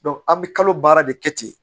an bɛ kalo baara de kɛ ten